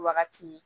Wagati